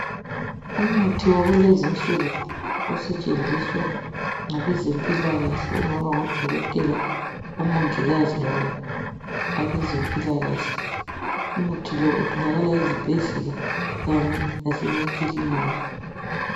Umuthi wakulezi insuku osetshenziswa ngabezimpila kahle okungaba ngodokotela omongikazi loba labezempilakahle umuthi lo utholakala ezibhedlela kanye lasemakiliniki .